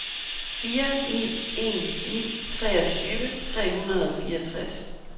fire ni en ni treogtyve tre hundrede og fireogtres